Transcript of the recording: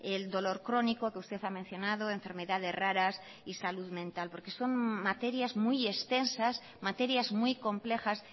el dolor crónico que usted ha mencionado enfermedades raras y salud mental porque son materias muy extensas materias muy complejas